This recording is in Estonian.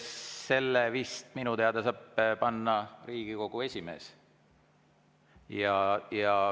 Seda vist minu teada saab teha Riigikogu esimees.